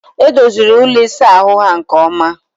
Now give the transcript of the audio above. Edoziri ụlọ isa ahụ ha nke oma